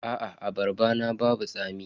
Aa abarban babu tsami.